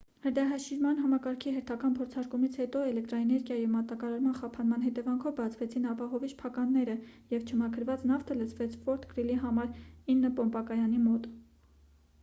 հրդեհաշիջման համակարգի հերթական փորձարկումից հետո էլեկտրաէներգիայի մատակարման խափանման հետևանքով բացվեցին ապահովիչ փականները և չմաքրված նավթը լցվեց ֆորթ գրիլի համար 9 պոմպակայանի մոտ